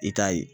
I k'a ye